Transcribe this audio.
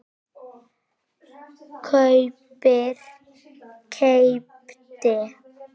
kaupir- keypti